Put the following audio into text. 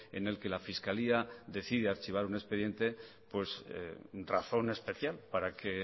en el que la fiscalía decide archivar un expediente pues razón especial para que